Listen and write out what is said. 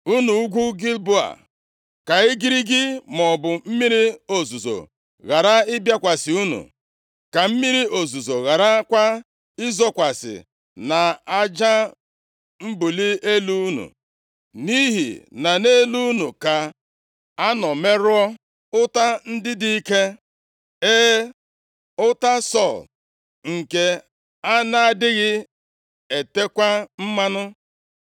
“Unu ugwu Gilboa, ka igirigi maọbụ mmiri ozuzo ghara ịbịakwasị unu. Ka mmiri ozuzo gharakwa izokwasị nʼaja mbuli elu unu. + 1:21 Ka ubi unu dị nʼelu ugwu ghara ịmịpụta mkpụrụ Nʼihi na nʼelu unu ka a nọ merụọ ọta + 1:21 Ọ bụ akpụkpọ anụ a mịkpọrọ amịkpọ, nke e tere mmanụ ka e ji eme ọta. Ọ bụ mmanụ ahụ e teere ya, na-eme ka ọ ghara ịma ebu, meekwa ka ọ na-amị amị, i ji gbochie ka àkụ a gbara ghara imife nʼọta ahụ. Ma ọta ndị a, nʼihi na ha amịjuola ọbara nʼebe ọ dị ukwuu, ha adịghị abakwa uru ọta na-aba nʼoge agha. ndị dị ike. E, ọta Sọl, nke a na-adịghị etekwa mmanụ.